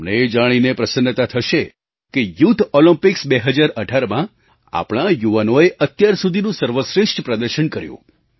તમને એ જાણીને પ્રસન્નતા થશે કે યૂથ ઑલિમ્પિક્સ 2018માં આપણા યુવાનોએ અત્યાર સુધીનું સર્વશ્રેષ્ઠ પ્રદર્શન કર્યું